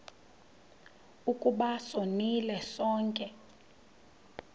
ukuba sonile sonke